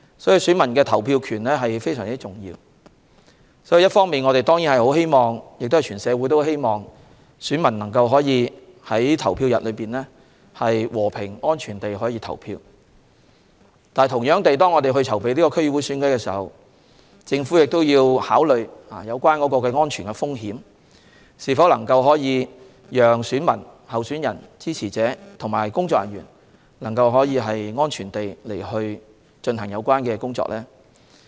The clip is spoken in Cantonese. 選民的投票權非常重要，我們和社會人士當然希望選民能夠在投票日和平、安全地投票，但在我們籌備區議會選舉時，也要考慮安全風險，以及是否能夠讓選民、候選人、支持者和工作人員安全地進行有關工作。